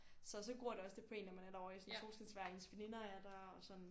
Så så gror det også lidt på en når man er der ovre i sådan solskinsvejr og ens veninder er der